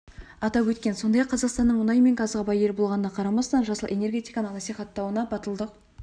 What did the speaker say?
атап өткен сондай-ақ қазақстанның мұнай мен газға бай ел болғанына қарамастан жасыл энергетиканы насихаттауны батылдық